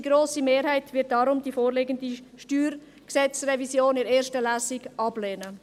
Die grosse Mehrheit wird deshalb die vorliegende StG-Revision in der ersten Lesung ablehnen.